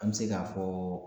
An bi se k'a fɔ